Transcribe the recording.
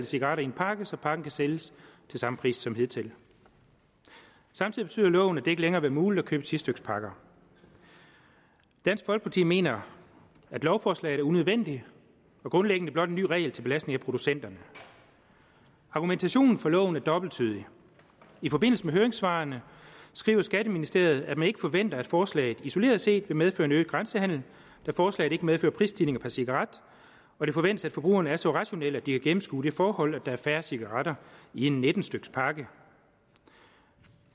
cigaretter i en pakke så pakken kan sælges til samme pris som hidtil samtidig betyder loven at det ikke længere vil være muligt at købe ti styk pakker dansk folkeparti mener at lovforslaget er unødvendigt og grundlæggende blot en ny regel til belastning af producenterne argumentationen for loven er dobbelttydig i forbindelse med høringssvarene skriver skatteministeriet at man ikke forventer at forslaget isoleret set vil medføre en øget grænsehandel da forslaget ikke medfører prisstigninger per cigaret og det forventes at forbrugerne er så rationelle at de har gennemskuet det forhold at der er færre cigaretter i en nitten styk pakke